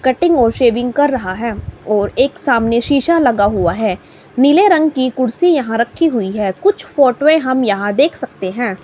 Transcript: Cutting और shaving कर रहा हैं और एक सामने शीशा लगा हुआ है। नीले रंग की कुर्सी यहां रखी हुई है। कुछ फोटोए हम यहां देख सकते हैं।